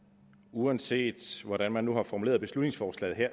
uanset hvordan man har formuleret beslutningsforslaget